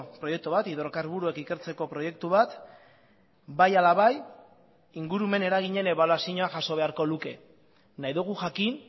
proiektu bat hidrokarburoak ikertzeko proiektu bat bai ala bai ingurumen eraginen ebaluazioa jaso beharko luke nahi dugu jakin